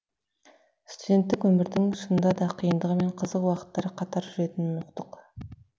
студенттік өмірдің шынында да қиындығы мен қызық уақыттары қатар жүретінін ұқтық